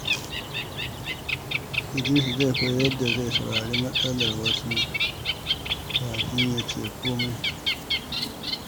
Idris zai koyi yadda zai saurari matsalar wasu kafin ya ce komai.